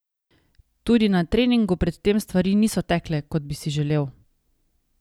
Tudi na treningu pred tem stvari niso tekle, kot bi si želel.